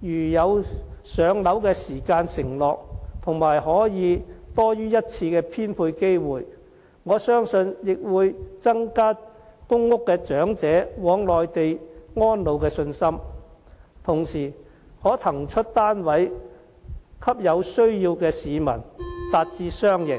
如有"上樓"時間承諾和可多於一次的編配機會，我相信亦會增加公屋長者往內地安老的信心，同時可騰出單位給有需要的市民，達至雙贏。